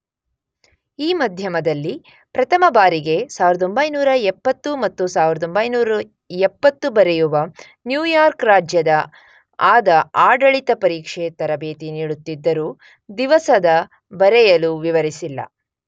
ಈ ಮಧ್ಯದಲ್ಲಿ ಪ್ರಥಮ ಬಾರಿಗೆ 1970 ಮತ್ತು 1970 ಬರೆಯುವ ನ್ಯೂಯಾರ್ಕ್ ರಾಜ್ಯದ ಆದ ಆಡಳಿತ ಪರೀಕ್ಷೆ ತರಬೇತಿ ನೀಡುತ್ತಿದ್ದರು ದಿವಸದ ಬರೆಯಲು ವಿವರಿಸಿಲ್ಲ.